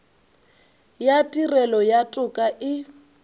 ya tirelo ya toka e